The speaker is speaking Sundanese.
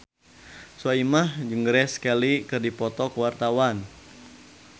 Soimah jeung Grace Kelly keur dipoto ku wartawan